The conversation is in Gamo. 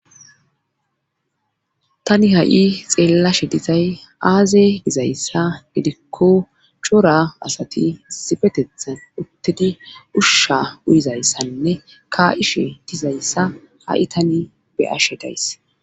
tani ha7i xeellashe dizay aazey gizayssa gidikko chora asati sifetethan uttidi ushsha uyizayssanne ka7ishe dizayssa ha7i tani beyashe days